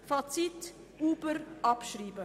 Fazit: Uber abschreiben!